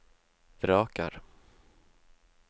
vraker